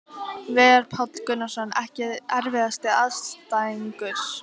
Veigar Páll Gunnarsson Ekki erfiðasti andstæðingur?